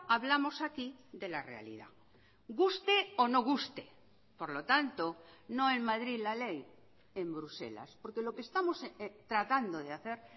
hablamos aquí de la realidad guste o no guste por lo tanto no en madrid la ley en bruselas porque lo que estamos tratando de hacer